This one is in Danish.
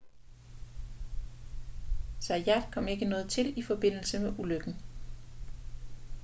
zayat kom ikke noget til i forbindelse med ulykken